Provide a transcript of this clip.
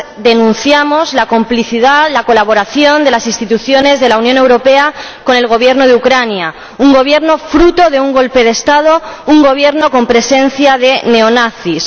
denunciamos la complicidad, la colaboración, de las instituciones de la Unión Europea con el Gobierno de Ucrania, un gobierno fruto de un golpe de Estado, un gobierno con presencia de neonazis.